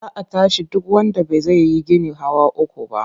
Za a tashi duk wanda ba zai yi gini hawa uku ba.